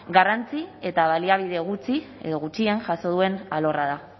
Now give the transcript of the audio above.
garrantzi eta baliabide gutxi edo gutxien jaso duen alorra da